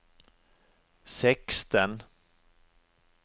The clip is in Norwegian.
seksten